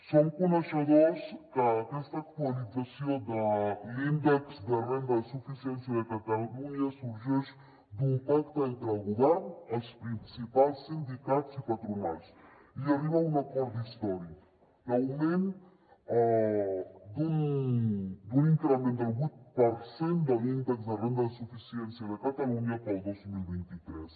som coneixedors que aquesta actualització de l’índex de renda de suficiència de catalunya sorgeix d’un pacte entre el govern els principals sindicats i patronals i arriba a un acord d’històric l’augment d’un increment del vuit per cent de l’índex de renda de suficiència de catalunya per al dos mil vint tres